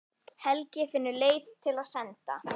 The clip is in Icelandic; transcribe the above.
Helgi finnur leiðir til að senda